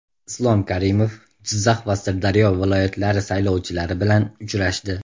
Islom Karimov Jizzax va Sirdaryo viloyatlari saylovchilari bilan uchrashdi.